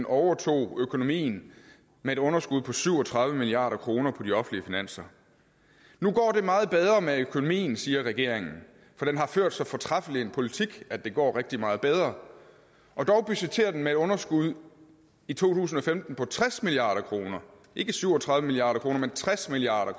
overtog økonomien med et underskud på syv og tredive milliard kroner på de offentlige finanser nu går det meget bedre med økonomien siger regeringen for den har ført så fortræffelig en politik at det går rigtig meget bedre og dog budgetterer den med et underskud i to tusind og femten på tres milliard kroner ikke syv og tredive milliard kr men tres milliard